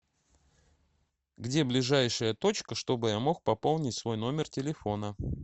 где ближайшая точка чтобы я мог пополнить свой номер телефона